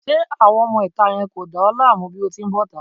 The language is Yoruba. Ṣé àwọn ọmọ ìta yẹn ò dá ẹ láàmú bí o ti bọ́ta?